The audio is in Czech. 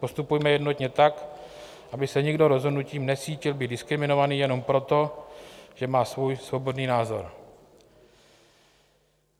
Postupujme jednotně tak, aby se nikdo rozhodnutím necítil být diskriminovaný jenom proto, že má svůj svobodný názor.